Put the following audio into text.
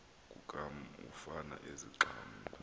kukam ufan ezixhamla